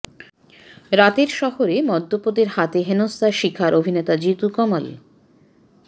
রাতের শহরে মদ্যপদের হাতে হেনস্থার শিকার অভিনেতা জিতু কমল